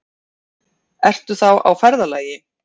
Ertu þá á ferðalagi?